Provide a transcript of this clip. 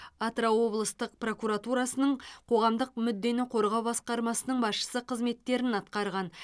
атырау облыстық прокуратурасының қоғамдық мүддені қорғау басқармасының басшысы қызметтерін атқарған